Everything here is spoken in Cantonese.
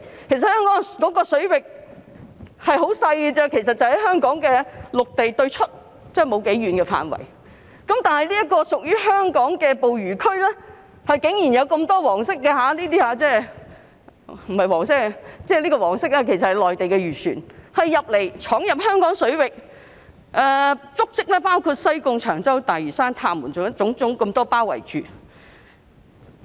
其實香港水域範圍甚為細小，只涵蓋香港的陸地對出不多遠的範圍，但屬於香港的捕魚區竟然有那麼多內地漁船——即黃色標記的這些——闖入，足跡包括西貢、長洲、大嶼山、塔門等。